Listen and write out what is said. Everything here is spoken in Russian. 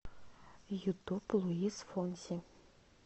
ютуб луис фонси